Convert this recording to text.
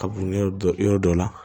Kaburu yɔrɔ dɔ yɔrɔ dɔ la